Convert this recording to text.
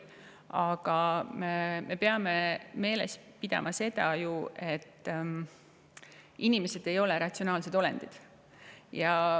Aga me peame meeles pidama seda, et inimesed ei ole ratsionaalsed olendid.